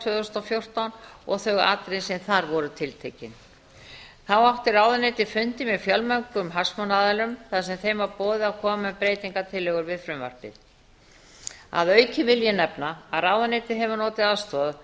tvö þúsund og fjórtán og þau atriði sem þar voru tiltekin þá átti ráðuneytið fundi með fjölmörgum hagsmunaaðilum þar sem þeim var boðið að koma með breytingartillögur við frumvarpið að auki vil ég nefna að ráðuneytið hefur notið aðstoðar